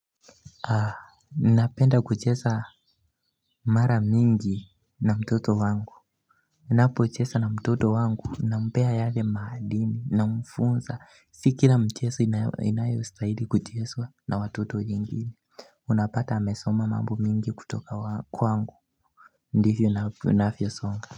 Napenda kucheza mara mingi na mtoto wangu Napochesa na mtoto wangu nampea yale maadini na mfunza si kila mcheso inayo stahili kucheswa na watoto jingine Unapata amesoma mambo mingi kutoka kwangu ndivyo inavyo songa.